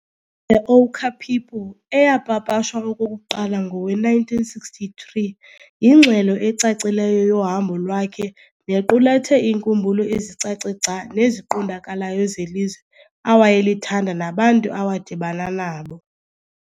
'The Ochre People' eyapapashwa okokuqala ngowe-1963 yingxelo ecacileyo yohambo lwakhe nequlathe iinkumbulo ezicace gca neziqondakalayo zelizwe awayelithanda nabantu awadibana nabo.